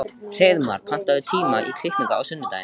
Hreiðmar, pantaðu tíma í klippingu á sunnudaginn.